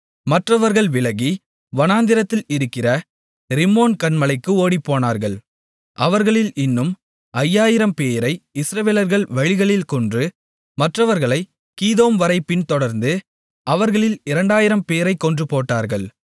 மற்றவர்கள் விலகி வனாந்திரத்தில் இருக்கிற ரிம்மோன் கன்மலைக்கு ஓடிப்போனார்கள் அவர்களில் இன்னும் ஐயாயிரம்பேரை இஸ்ரவேலர்கள் வழிகளில் கொன்று மற்றவர்களைக் கீதோம்வரைப் பின்தொடர்ந்து அவர்களில் இரண்டாயிரம்பேரைக் கொன்றுபோட்டார்கள்